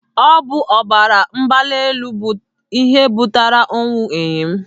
Ọ bụ ọbara mgbali elu bụ ihe butere ọnwụ enyi m.